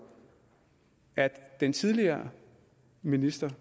at den tidligere minister